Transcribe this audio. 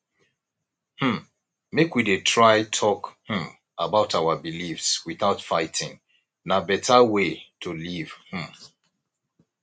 um make we dey try talk um about our beliefs without fighting na beta way to live um